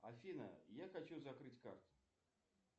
афина я хочу закрыть карты